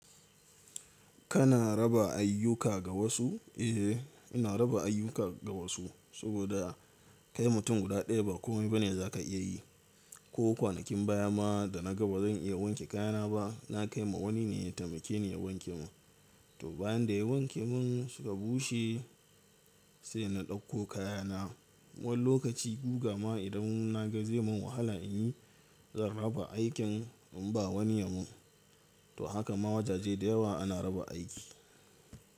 Kana raba ayyuka ga wasu? Eh, ina raba ayyuka ga wasu, saboda kai mutum guda ɗaya ba komai ba ne za ka iya yi. Ko kwanakin baya ma da na ga ba zan iya wanke kayana ba, na kai ma wani ne ya taimake ni ya wanke mun. To bayan da ya wanke mun suka bushe sai na ɗauko kayana. Wani lokaci guga ma idan na ga zai mun wahala in yi, zan raba aikin in ba wani yamun. To haka ma wajaje da yawa ana raba aiki.